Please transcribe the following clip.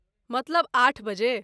मतलब आठ बजे?